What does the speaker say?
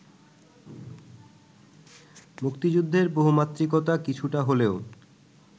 মুক্তিযুদ্ধের বহুমাত্রিকতা কিছুটা হলেও